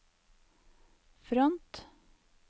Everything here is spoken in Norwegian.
front